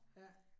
Ja